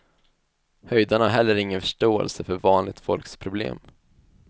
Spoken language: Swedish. Höjdarna har heller ingen förståelse för vanligt folks problem.